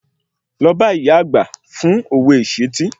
Lọ bá ìyá àgbà fún òwe ìṣìtí